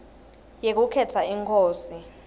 yekukhetsa inkosi